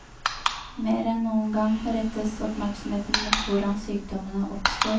Mer enn noen gang rettes oppmerksomheten mot hvordan sykdommene oppstår.